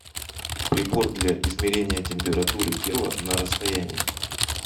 прибор для измерения температуры тела на расстоянии